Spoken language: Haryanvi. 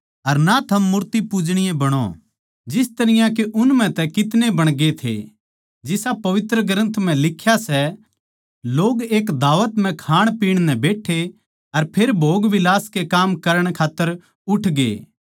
अर ना थम मूर्ति पूजणीये बणो जिस तरियां के उन म्ह तै कितने बणगे थे जिसा पवित्र ग्रन्थ म्ह लिख्या सै लोग एक दावत म्ह खाणपीण नै बैठे अर फेर भोगविलास के काम करण खात्तर उठ गए